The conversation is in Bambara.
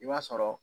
I b'a sɔrɔ